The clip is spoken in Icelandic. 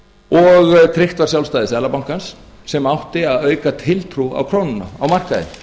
og treysta sjálfstæði seðlabankans sem átti að auka tiltrú á krónuna á markaði